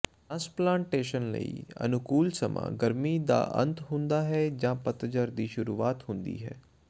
transplantation ਲਈ ਅਨੁਕੂਲ ਸਮਾਂ ਗਰਮੀ ਦਾ ਅੰਤ ਹੁੰਦਾ ਹੈ ਜਾਂ ਪਤਝੜ ਦੀ ਸ਼ੁਰੂਆਤ ਹੁੰਦੀ ਹੈ